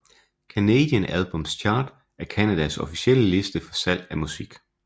Canadian Albums Chart er Canadas officielle liste for salg af musik